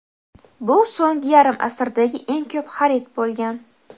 bu so‘nggi yarim asrdagi eng ko‘p xarid bo‘lgan.